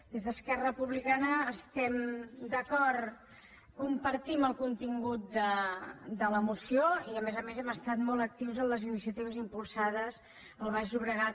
des d’esquerra republicana estem d’acord compartim el contingut de la moció i a més a més hem estat molt actius en les iniciatives impulsades al baix llobregat